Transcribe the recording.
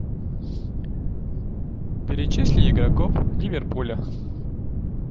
перечисли игроков ливерпуля